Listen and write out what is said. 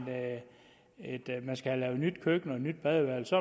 have lavet nyt køkken og nyt badeværelse